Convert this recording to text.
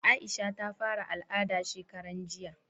Aisha ta fara al'ada shekaran jiya